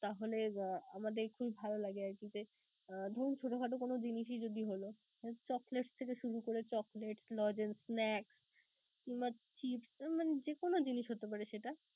তাহলে আমাদের খুবই ভালো লাগে আরকি যে, ধরুন ছোট খাটো কোন জিনিসই যদি হলো chocolates থেকে শুরু করে chocolates, logence, snacks কিংবা chips মানে যে কোন জিনিস হতে পারে সেটা.